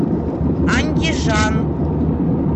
андижан